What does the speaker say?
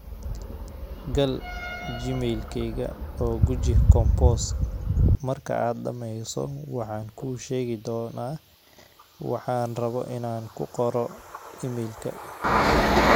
gal gmail kayga oo guji compose marka aad dhammayso waxaan kuu sheegi doonaa waxaan rabo inaan ku qoro iimaylka